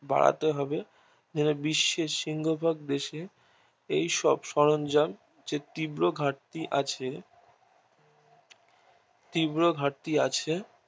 বাড়াতে হবে বিশ্বের শিঙ্খো দেশে সব সরঞ্জাম তীব্র ঘাটতি আছে তীব্র ঘাটতি